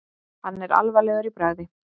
Hann er alvarlegur í bragði.